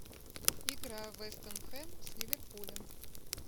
игра вест хэм с ливерпулем